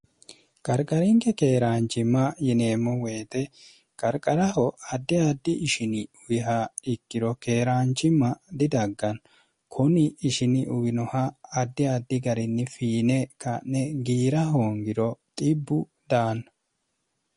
qarqarinke keeraanchimma yineemmo woyite qarqaraho addi addi ishini uwiha ikkiro keeraanchimma didagganna kuni ishini uwinoha addi addi garinni fiine ka'ne giira hoongiro xibbu daanna